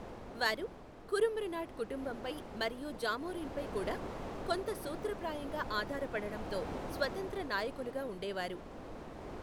వారు కురుంబ్రునాడ్ కుటుంబంపై మరియు జామోరిన్పై కూడా, కొంత సూత్రప్రాయంగా ఆధారపడటంతో స్వతంత్ర నాయకులుగా ఉండేవారు.